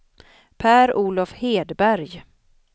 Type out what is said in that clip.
Per-Olof Hedberg